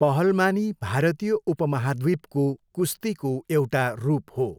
पहलमानी भारतीय उपमहाद्वीपको कुस्तीको एउटा रूप हो।